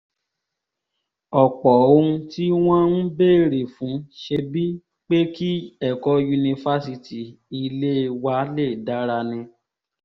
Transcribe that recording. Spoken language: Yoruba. ọ̀pọ̀ ohun tí wọ́n ń béèrè fún ṣebí pé kí ẹ̀kọ́ yunifásitì ilé wa lè dára ni